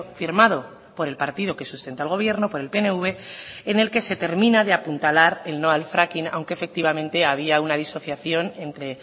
firmado por el partido que sustenta el gobierno por el pnv en el que se termina de apuntalar el no al fracking aunque efectivamente había una disociación entre